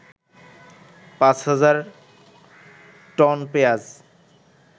৫০০০ ton পেঁয়াজ